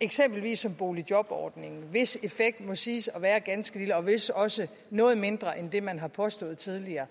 eksempelvis som boligjobordningen hvis effekt må siges at være ganske lille og vist også noget mindre end det man har påstået tidligere